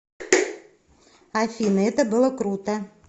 афина это было круто